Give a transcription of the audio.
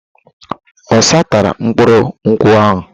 Osa tara mkpụrụ nkwụ ahụ.